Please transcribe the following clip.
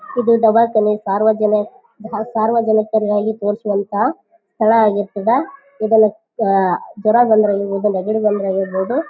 ಇದು ದವಾ ಖಾನೆ ಸಾರ್ವಜನೆ ಸಾರ್ವಜನಿಕರವಾಗಿ ತೋರಿಸುವಂಥ ಸ್ಥಳ ಆಗಿರ್ತದ ಇದನ್ನ ಅಹ್ ಜ್ವರ ಬಂದ್ರ ಆಗಿರ್ಬಹುದು ನೆಗಡಿ ಬಂದ್ರ ಆಗಿರ್ಬಹುದು--